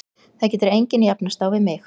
Það getur engin jafnast á við mig.